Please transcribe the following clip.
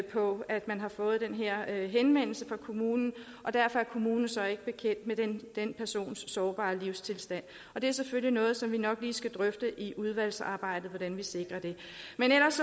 på at man har fået den her henvendelse fra kommunen og derfor er kommunen så ikke bekendt med den persons sårbare livstilstand og det er selvfølgelig noget som vi nok lige skal drøfte i udvalgsarbejdet hvordan vi sikrer at